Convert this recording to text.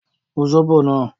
Mú sóbò náà!